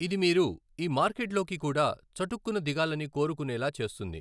ఇది మీరు ఈ మార్కెట్లోకి కూడా చటుక్కున దిగాలని కోరుకునేలా చేస్తుంది.